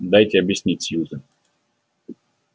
дайте объяснить сьюзен